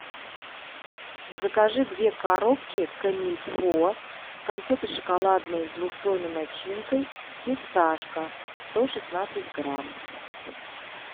закажи две коробки комильфо конфеты шоколадные с двухслойной начинкой фисташка сто шестнадцать грамм